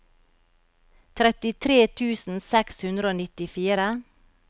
trettitre tusen seks hundre og nittifire